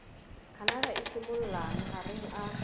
canada e simollang mahareng a